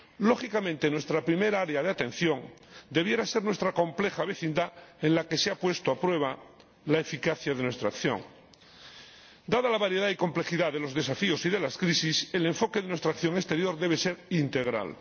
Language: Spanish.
Lógicamente, nuestra primera área de atención debiera ser nuestra compleja vecindad, en la que se ha puesto a prueba la eficacia de nuestra acción. Dada la variedad y complejidad de los desafíos y de las crisis, el enfoque de nuestra acción exterior debe ser integral.